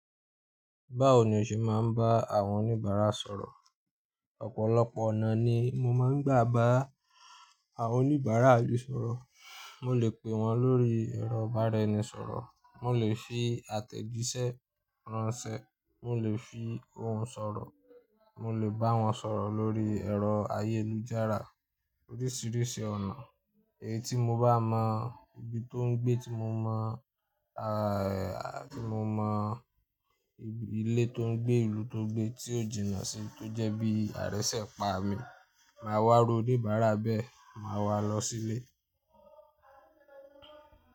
Báwo ni o ṣe máa ń bá àwọn oníbàárà sọ̀rọ̀? Ọ̀pọ̀lọpọ̀ ọ̀nà ni mo máa ń gbà bá àwọn oníbàárà lu sọ̀rọ̀. Mo lè pe wọn lórí ẹ̀rọ ìbánisọ̀rọ̀, mo lè fi àtẹ̀jíṣẹ́ ránṣẹ́, mo lè fi ohùn sọ̀rọ̀, mo lè bá wọn sọ̀rọ̀ lórí ẹ̀rọ ayélujára. Oríṣiríṣi ọ̀nà èyí tí mo bá mọ ibi tó ń gbé tí mo mọ, tí mo mọ ibi ilé tó ń gbé, ìlú tó gbé tí ó jìnnà sí tó jẹ́ bí àrẹ́sẹ̀ pa mi. Máa wá rú oníbárà bẹ́ẹ̀, màá wá lọ sílé.